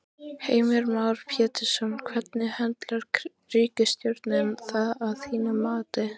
Heimir Már Pétursson: Hvernig höndlar ríkisstjórnin það að þínu mati?